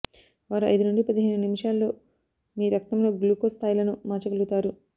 వారు ఐదు నుండి పదిహేను నిమిషాలలో మీ రక్తంలో గ్లూకోస్ స్థాయిలను మార్చగలుగుతారు